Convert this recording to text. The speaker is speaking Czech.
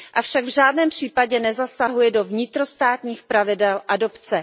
Avšak v žádném případě nezasahuje do vnitrostátních pravidel adopce.